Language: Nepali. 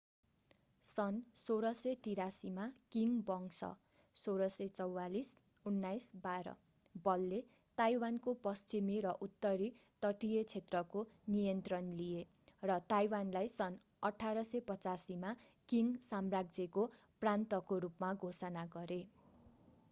सन् 1683 मा किङ वंश 1644-1912 बलले ताइवानको पश्चिमी र उत्तरी तटीय क्षेत्रको नियन्त्रण लिए र ताइवानलाई सन् 1885 मा किङ साम्राज्यको प्रान्तको रूपमा घोषणा गरे।